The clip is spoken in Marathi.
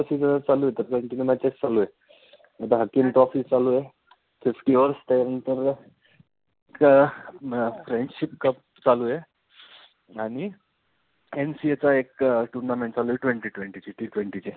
Fifty overs त्यानंतर आह म friendship cup चालू आहे. आणि NCA चा एक tournament चालू आहे. twenty twenty ची T twenty ची